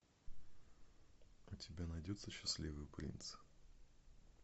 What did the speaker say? у тебя найдется счастливый принц